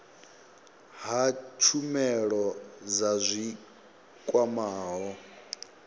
ha tshumelo dza zwi kwamaho